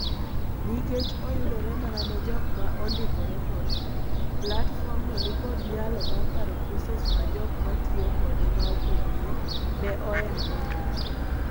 Nikech oyudore mana ne jok ma ondikore kode, platform no ni kod nyalo mar paro courses ma jok matiyo kode maopogore ne o enrol.